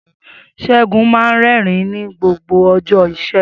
Segun máa ń rẹ́rìn-ín ní gbogbo ọjọ́ Ìṣẹ́gun.